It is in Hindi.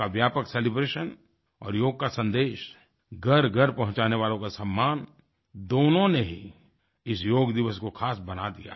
योग का व्यापक सेलिब्रेशन और योग का सन्देश घरघर पहुँचाने वालों का सम्मान दोनों ने ही इस योग दिवस को खास बना दिया